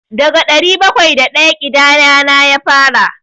Daga ɗari bakwai da ɗaya ƙidayana ya fara.